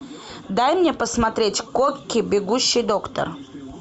дай мне посмотреть кокки бегущий доктор